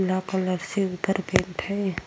पीला कलर से उधर पेन्ट है।